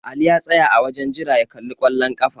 Ali ya tsaya a wajen jira ya kalli kwallon ƙafa.